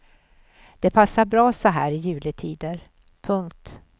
Det passar bra så här i juletider. punkt